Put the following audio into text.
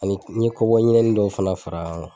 Ani n ye kɔbɔyi ɲinɛni dɔw fɛnɛ far'a kan kuwa